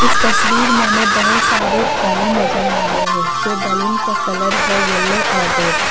तस्वीर में हमें बहोत सारे बैलून नजर आ रहे हैं जो बैलून का कलर है येलो और रेड ।